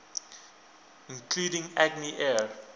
including agni air